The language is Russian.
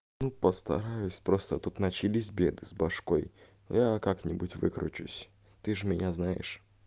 и постараюсь просто тут начались беды с башкой я как-нибудь выкручусь ты же меня знаешь